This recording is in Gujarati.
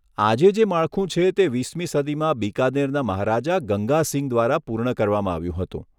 આજે જે માળખું છે તે વીસમી સદીમાં બીકાનેરના મહારાજા ગંગા સિંહ દ્વારા પૂર્ણ કરવામાં આવ્યું હતું.